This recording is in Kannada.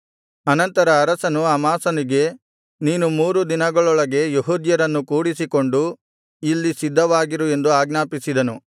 ಅನಂತರ ಅರಸನು ಅಮಾಸನಿಗೆ ನೀನು ಮೂರು ದಿನಗಳೊಳಗೆ ಯೆಹೂದ್ಯರನ್ನು ಕೂಡಿಸಿಕೊಂಡು ಇಲ್ಲಿ ಸಿದ್ಧವಾಗಿರು ಎಂದು ಆಜ್ಞಾಪಿಸಿದನು